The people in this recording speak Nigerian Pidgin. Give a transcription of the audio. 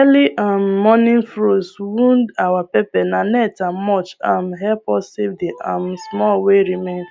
early um morning frost wound our pepperna net and mulch um help us save the um small wey remain